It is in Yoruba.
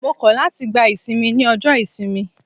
Mo kọ̀ láti gba ìsinmi ní ọjọ́ ìsinmi.